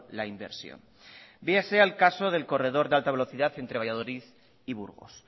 la inversión véase al caso del corredor de alta velocidad entre valladolid y burgos